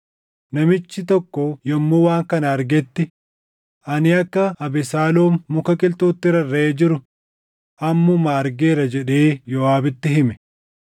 Namichi tokko yommuu waan kana argetti, “Ani akka Abesaaloom muka qilxuutti rarraʼee jiru ammuma argeera” jedhee Yooʼaabitti hime.